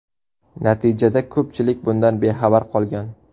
Natijada ko‘pchilik bundan bexabar qolgan.